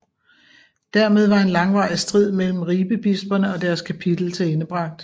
Dermed var en langvarig strid mellem Ribebisperne og deres kapitel tilendebragt